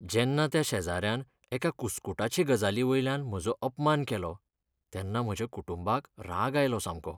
जेन्ना त्या शेजाऱ्यान एका कुस्कूटाचे गजालीवयल्यान म्हजो अपमान केलो तेन्ना म्हज्या कुटूंबाक राग आयलो सामको.